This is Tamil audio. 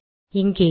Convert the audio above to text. இங்கேயும்